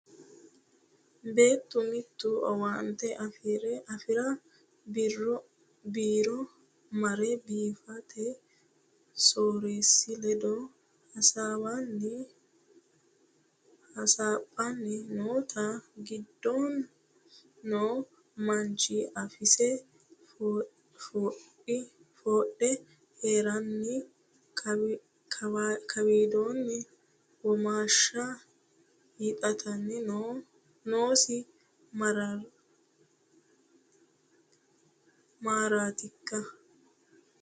Beettu mitu owaante afirara biiro mare biifote soorreesi ledo hasaawanni hasaphanni noottana giddon no manchi afosi foxodhe heerenanni kawidihu womashshe hiixattanni noosi maratikka?